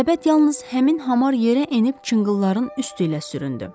Səbət yalnız həmin hamar yerə enib çınqılların üstü ilə süründü.